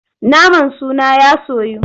Naman suna ya soyu.